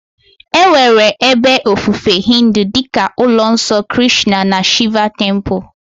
Enwere ebe ofufe Hindu dị ka ụlọ nsọ Krishna na Shiva Temple.